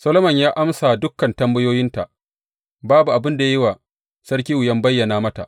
Solomon ya amsa dukan tambayoyinta, ba abin da ya yi wa sarki wuyan bayyanawa mata.